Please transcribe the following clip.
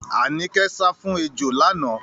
Àníkẹ́ sá fún ejò lánàá.